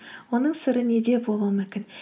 оның сыры неде болуы мүмкін